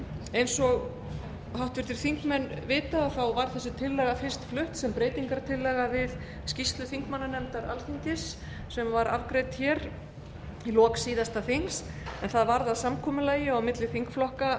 eins og háttvirtir þingmenn vita var þessi tillaga fyrst flutt sem breytingartillaga við skýrslu þingmannanefndar alþingis sem var afgreidd í lok síðasta þings en það varð að samkomulagi á milli þingflokka